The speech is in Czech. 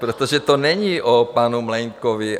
Protože to není o panu Mlejnkovi.